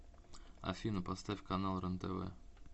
афина поставь канал рентв